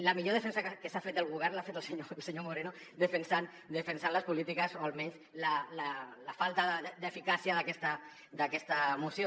la millor defensa que s’ha fet del govern l’ha fet el senyor moreno defensant les polítiques o almenys la falta d’eficàcia d’aquesta moció